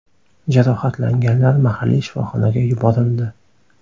Jarohatlanganlar mahalliy shifoxonaga yuborildi.